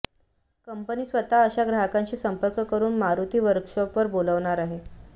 company स्वतः अशा ग्राहकांशी संपर्क करुन मारुती वर्कशॉर्प वर बोलावणार आहे